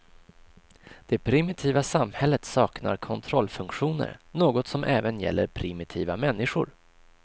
Det primitiva samhället saknar kontrollfunktioner, något som även gäller primitiva människor.